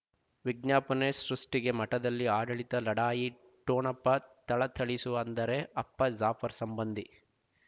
ವಿಜ್ಞಾಪನೆ ಸೃಷ್ಟಿಗೆ ಮಠದಲ್ಲಿ ಆಡಳಿತ ಲಢಾಯಿ ಠೊಣಪ ಥಳಥಳಿಸುವ ಅಂದರೆ ಅಪ್ಪ ಜಾಫರ್ ಸಂಬಂಧಿ